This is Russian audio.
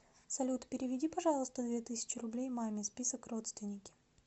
салют переведи пожалуйста две тысячи рублей маме список родственники